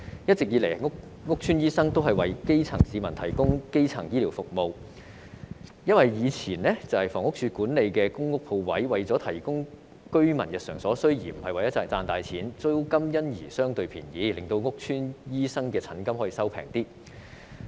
一直以來，屋邨醫生為基層市民提供基層醫療服務，因為以前房屋署所管理的公共屋邨鋪位是為了提供居民日常所需，不是為了賺錢，租金因而相對便宜，令屋邨醫生的診金可以便宜一點。